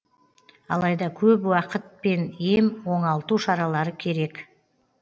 алайда көп уақыт пен ем оңалту шаралары керек